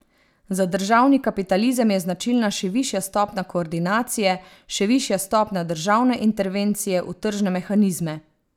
Za državni kapitalizem je značilna še višja stopnja koordinacije, še višja stopnja državne intervencije v tržne mehanizme.